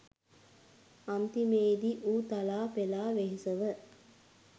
අන්තිමේ දී ඌ තලා පෙළා වෙහෙසව